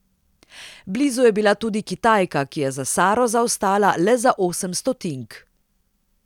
Blizu je bila tudi Kitajka, ki je za Saro zaostala le za osem stotink.